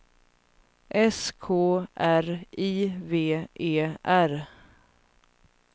S K R I V E R